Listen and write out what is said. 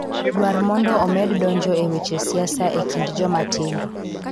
Dwar mondo omed donjo e weche siasa e kind joma tindo.